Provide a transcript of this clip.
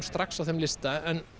strax á þeim lista en